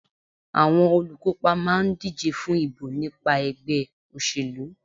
Àwọn olùkópa máà ń díje fún ìbò nípa ẹgbẹ́ òṣèlú.